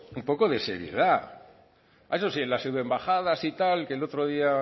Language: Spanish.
un poco de seriedad a eso sí las pseudoembajadas y tal que el otro día